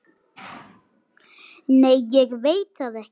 Nei ég veit það ekki.